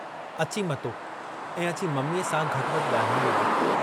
अची मतो ऐं अची मम्मीअ सां घटि वधि ॻाल्हाइणु लॻो।